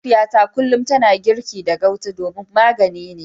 Mahaifiyata kullum tana girki da gauta domin magani ne.